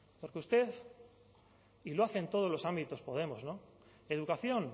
porque usted y lo hace en todos los ámbitos podemos no educación